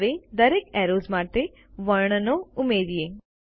હવે દરેક એરોઝ માટે વર્ણનો ઉમેરીએ